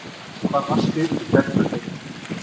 Hvar varstu í gærkvöldi?